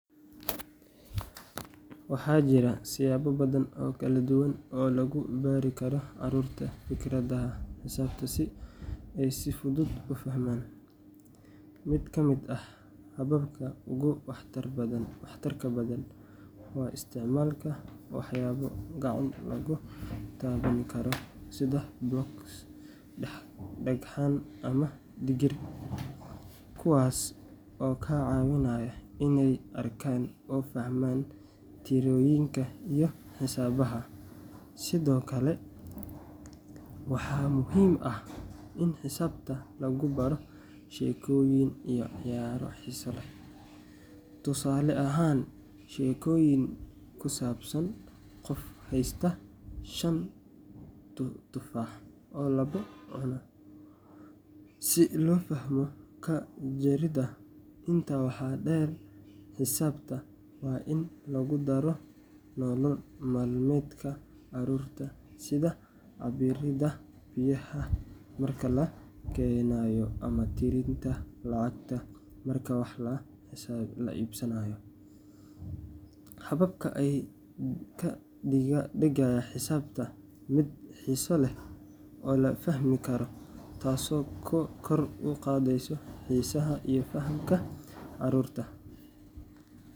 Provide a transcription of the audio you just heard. Waxaa jira siyaabo badan oo kala duwan oo lagu bari karo carruurta fikradaha xisaabta si ay si fudud u fahmaan. Mid ka mid ah hababka ugu waxtarka badan waa isticmaalka waxyaabo gacan lagu taaban karo sida blocks, dhagxaan ama digir, kuwaas oo ka caawinaya inay arkaan oo fahmaan tirooyinka iyo xisaabaha. Sidoo kale, waxaa muhiim ah in xisaabta lagu baro sheekooyin iyo ciyaaro xiiso leh, tusaale ahaan, sheekooyin ku saabsan qof haysta 5 tufaax oo labo cuno, si loo fahmo ka-jaridda. Intaa waxaa dheer, xisaabta waa in lagu daro nolol maalmeedka carruurta sida cabbiridda biyaha marka la karinayo ama tirinta lacagta marka wax la iibsanayo. Hababkan ayaa ka dhigaya xisaabta mid xiiso leh oo la fahmi karo, taasoo kor u qaadaysa xiisaha iyo fahamka carruurta.